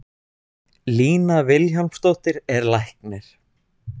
Lína Vilhjálmsdóttir er læknir.